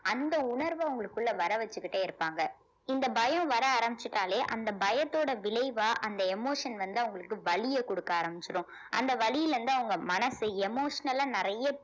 அந்த உணர்வு அவங்களுக்குள்ள வர வச்சுக்கிட்டே இருப்பாங்க இந்த பயம் வர ஆரம்பிச்சுட்டாலே அந்த பயத்தோட விளைவா அந்த emotion வந்து அவங்களுக்கு வலியை கொடுக்க ஆரம்பிச்சிடும் அந்த வலியிலிருந்து அவங்க மனசு emotional ஆ நிறைய